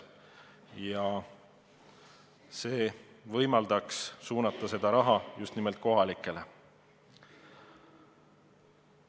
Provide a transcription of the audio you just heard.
Nii saadud raha võiks suunata just nimelt kohalikele omavalitsustele.